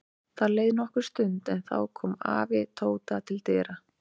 Það leið nokkur stund en þá kom afi Tóta til dyra.